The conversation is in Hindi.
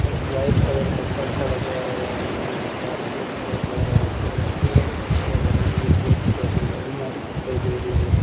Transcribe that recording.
एक व्हाइट कलर का परदा लगाया हुआ है अलमारी के पास वो दिखाई दे रहा है दो चेयर कुर्सियां डली हुई है वो दिखाई दे रहा अलमारी दिखाई दे रही है।